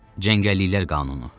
Cəngəlliklər qanunu.